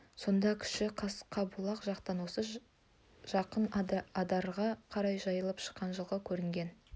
сонда кіші қасқабұлақ жақтан осы жақын адырға қарай жайылып шыққан жылқы көрінген